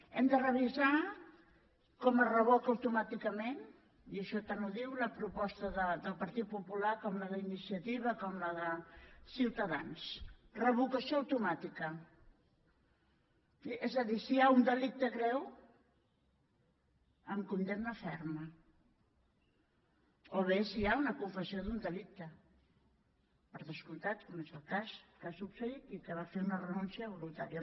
hem de revisar com es revoca automàticament i això tant ho diu la proposta del partit popular com la d’iniciativa com la de ciutadans revocació automàtica és a dir si hi ha un delicte greu amb condemna ferma o bé si hi ha una confessió d’un delicte per descomptat com és el cas que ha succeït i que va fer una renúncia voluntària